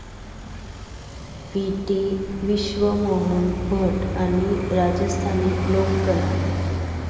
P T. Vishwamohan Bhatt आणि राजस्थानी लोककला